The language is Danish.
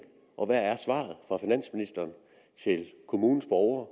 og hvad er svaret fra finansministeren til kommunens borgere